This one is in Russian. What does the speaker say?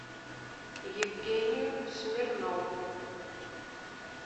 евгению смирнову